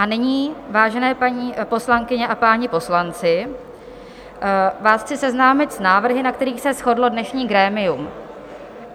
A nyní, vážené paní poslankyně a páni poslanci, vás chci seznámit s návrhy, na kterých se shodlo dnešní grémium.